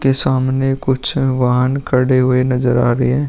के सामने कुछ वाहन खड़े हुए नजर आ रहे हैं।